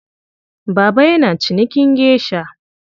Baba yana cinikin geisha.